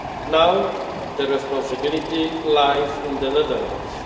Now, the responsibility lies in the Netherlands.